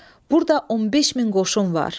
Burada 15 min qoşun var.